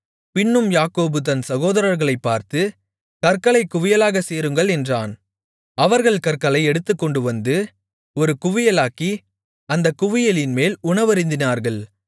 பின்னும் யாக்கோபு தன் சகோதரர்களைப் பார்த்து கற்களைக் குவியலாகச் சேருங்கள் என்றான் அவர்கள் கற்களை எடுத்துக்கொண்டுவந்து ஒரு குவியலாக்கி அந்தக் குவியலின்மேல் உணவருந்தினார்கள்